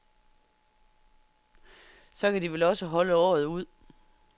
Så kan de vel også holde året ud.